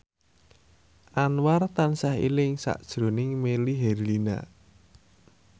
Anwar tansah eling sakjroning Melly Herlina